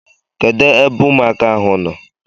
Kedụ ebe ụmụaka ahụ nọ?